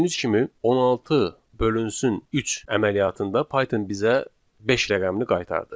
Gördüyünüz kimi 16 bölünsün 3 əməliyyatında Python bizə beş rəqəmini qaytardı.